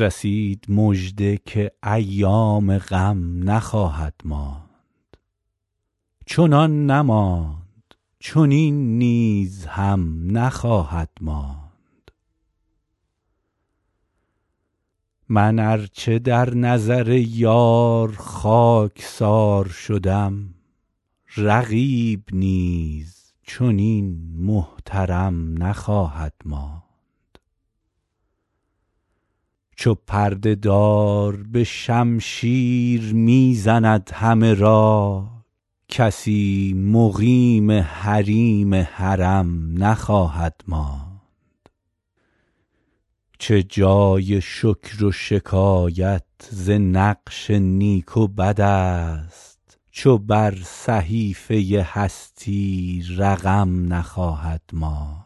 رسید مژده که ایام غم نخواهد ماند چنان نماند چنین نیز هم نخواهد ماند من ار چه در نظر یار خاک سار شدم رقیب نیز چنین محترم نخواهد ماند چو پرده دار به شمشیر می زند همه را کسی مقیم حریم حرم نخواهد ماند چه جای شکر و شکایت ز نقش نیک و بد است چو بر صحیفه هستی رقم نخواهد ماند